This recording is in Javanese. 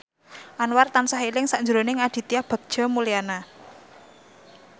Anwar tansah eling sakjroning Aditya Bagja Mulyana